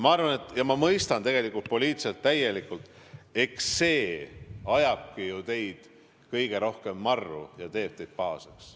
Ma mõistan tegelikult poliitilises mõttes täielikult, et eks see ajabki ju teid kõige rohkem marru ja teeb pahaseks.